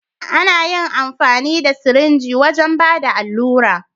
Ana yin amfani da sirinji wajen Bada alura.